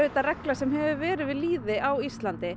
regla sem hefur verið við lýði á Íslandi